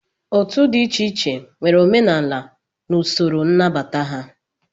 Otu dị iche iche nwere omenala na usoro nnabata ha